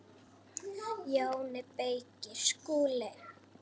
JÓN BEYKIR: Skúli!